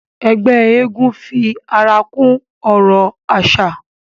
Ẹgbẹ́ eégún fi ara kún ọrọ̀ àṣà